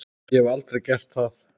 Ég hef aldrei gert það.